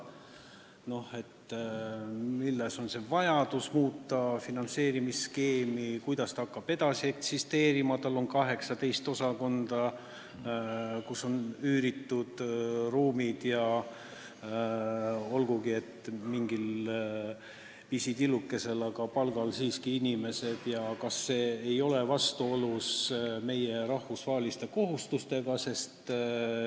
Tunti huvi, millest on tingitud vajadus muuta finantseerimisskeemi ning kuidas ta hakkab edasi eksisteerima, sest tal on 18 osakonda, neile on üüritud ruumid ja olgugi, et pisitillukesel palgal, aga palgal on siiski inimesed, ning kas see muudatus ei ole vastuolus meie rahvusvaheliste kohustustega.